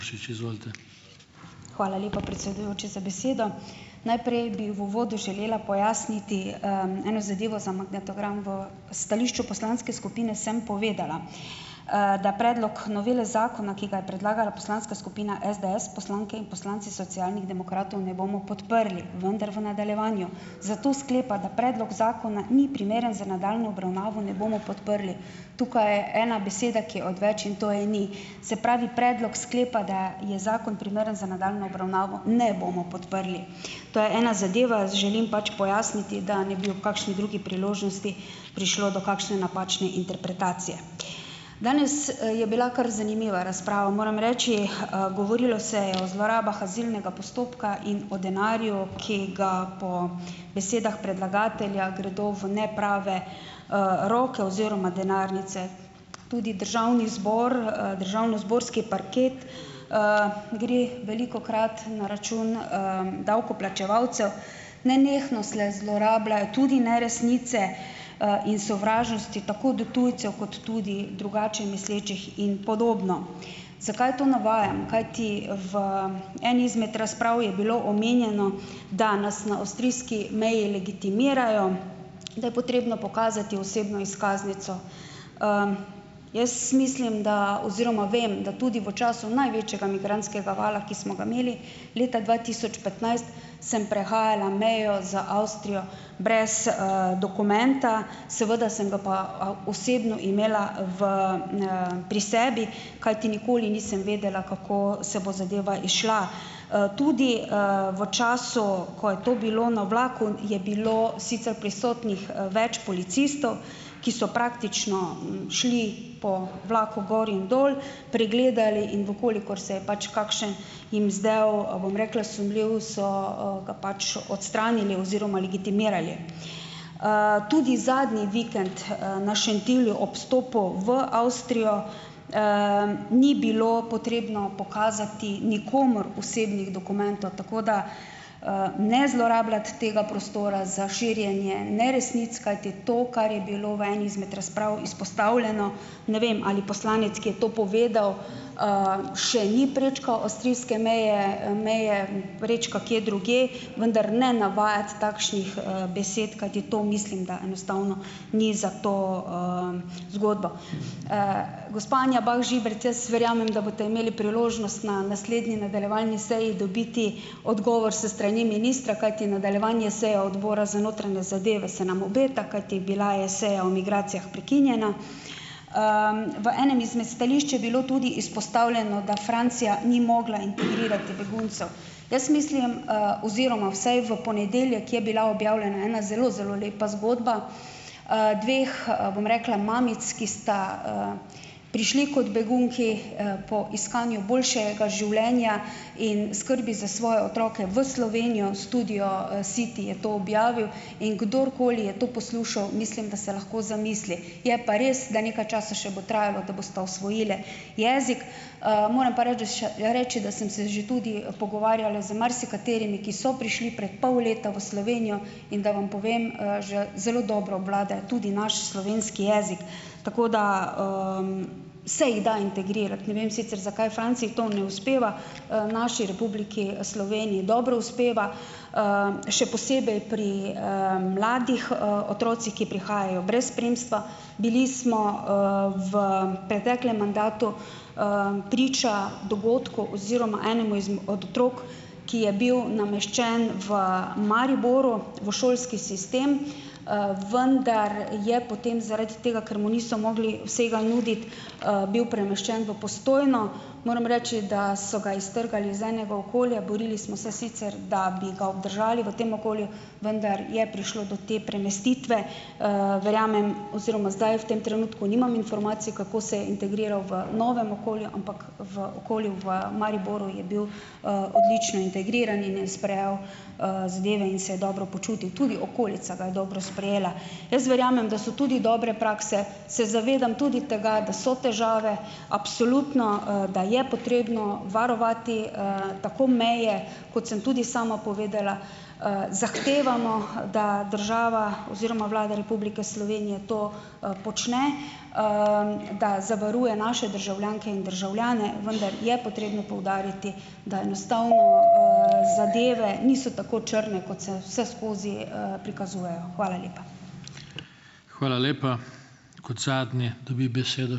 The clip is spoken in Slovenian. Pušič, izvolite. Hvala lepa, predsedujoči, za besedo. Najprej bi v uvodu želela pojasniti eno zadevo za magnetogram. V stališču poslanske skupine sem povedala, da predlog novele zakona, ki ga je predlagala poslanska skupina SDS, poslanke in poslanci Socialnih demokratov ne bomo podprli, vendar v nadaljevanju zato sklepa, da predlog zakona ni primeren za nadaljnje obravnavo, ne bomo podprli. Tukaj je ena beseda, ki je odveč, in to je, ni, se pravi, predlog sklepa, da je zakon primeren za nadaljnjo obravnavo, ne bomo podprli. Zo je ena zadeva. Želim pač pojasniti, da ne bi ob kakšni drugi priložnosti prišlo do kakšne napačne interpretacije. Danes, je bila kar zanimiva razprava, moram reči, govorilo o zlorabah azilnega postopka in o denarju, ki ga po besedah predlagatelja gredo v neprave, roke oziroma denarnice. Tudi državni zbor, državnozborski parket, gre velikokrat na račun, davkoplačevalcev, nenehno se zlorabljajo tudi neresnice, in sovražnosti tako do tujcev kot tudi drugače mislečih in podobno. Zakaj to navajam? Kajti v eni izmed razprav je bilo omenjeno, da nas na avstrijski meji legitimirajo, da je potrebno pokazati osebno izkaznico, jaz mislim, da, oziroma vem, da tudi v času največjega migrantskega vala, ki smo ga imeli leta dva tisoč petnajst, sem prehajala mejo z Avstrijo brez, dokumenta seveda sem ga pa, a osebno imela v, pri sebi, kajti nikoli nisem vedela, kako se bo zadeva izšla, tudi, v času, ko je to bilo na vlaku, je bilo sicer prisotnih, več policistov, ki so praktično šli po vlaku gor in dol, pregledali, in v kolikor se je pač kakšen jim zdel, bom rekla, sumljiv so, ga pač odstranili oziroma legitimirali, tudi zadnji vikend, na Šentilju ob vstopu v Avstrijo, ni bilo potrebno pokazati nikomur osebnih dokumentov, tako da, ne zlorabljati tega prostora za širjenje neresnic, kajti to, kar je bilo v eni izmed razprav izpostavljeno, ne vem, ali poslanec, ki je to povedal, še ni prečkal avstrijske meje, meje prečka kje drugje, vendar ne navajati takšnih, besed, kajti to mislim, da enostavno ni zato, zgodba, gospa Anja Bah Žibert, jaz verjamem, da boste imeli priložnost na naslednji nadaljevalni seji dobiti odgovor s strani ministra, kajti nadaljevanje seje odbora za notranje zadeve se nam obeta, kajti bila je seja o migracijah prekinjena, v enem izmed stališč je bilo tudi izpostavljeno, da Francija ni mogla integrirati beguncev, jaz mislim, oziroma vsaj v ponedeljek je bila objavljena ena zelo zelo lepa zgodba, dveh, bom rekla, mamic, ki sta, prišli kot begunki, po iskanju boljšega življenja in skrbi za svoje otroke v Slovenijo, Studio City je to objavil, in kdorkoli je to poslušal, mislim, da se lahko zamisli, je pa res, da nekaj časa še bo trajalo, da bosta osvojili jezik, moram pa reči, še reči, da sem se že tudi pogovarjala z marsikaterimi, ki so prišli pred pol leta v Slovenijo, in da vam povem, že zelo dobro obvladajo tudi naš slovenski jezik, tako da, se jih da integrirati, ne vem sicer, zakaj Franciji to ne uspeva, naši Republiki Sloveniji dobro uspeva, še posebej pri, mladih, otrocih, ki prihajajo brez spremstva, bili smo, v preteklem mandatu, priča dogodku oziroma enemu med otrok, ki je bil nameščen v Mariboru v šolski sistem, vendar je potem zaradi tega, ker mu niso mogli vsega nuditi, bil premeščen v Postojno, moram reči, da so ga iztrgali iz enega okolja, borili smo se sicer, da bi ga obdržali v tem okolju, vendar je prišlo do te premestitve, verjamem oziroma zdaj v tem trenutku nimam informacij, kako se je integriral v novem okolju, ampak v okolju v Mariboru je bil, odlično integriran in je sprejel, zadeve in se je dobro počutil, tudi okolica ga je dobro sprejela, jaz verjamem, da so tudi dobre prakse, se zavedam tudi tega, da so težave, absolutno, da je potrebno varovati, tako meje, kot sem tudi sama povedala, zahtevamo da država oziroma Vlada Republike Slovenije to, počne, da zavaruje naše državljanke in državljane, vendar je potrebno poudariti, da enostavno, zadeve niso tako črne, kot se vseskozi, prikazujejo, hvala lepa. Hvala lepa. Kot zadnji dobi besedo ...